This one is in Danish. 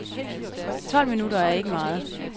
Tolv minutter er ikke meget.